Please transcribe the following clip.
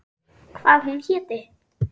Hvað hún héti.